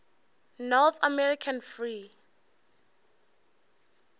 north american free